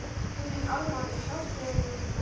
Guð minn almáttugur hjálpi þér ungi maður!